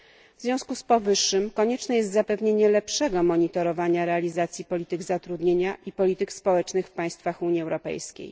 W związku z powyższym konieczne jest zapewnienie lepszego monitorowania realizacji polityk zatrudnienia i polityk społecznych w państwach Unii Europejskiej.